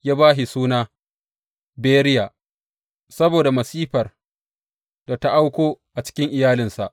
Ya ba shi suna Beriya, saboda masifar da ta auko a cikin iyalinsa.